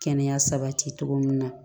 Kɛnɛya sabati cogo min na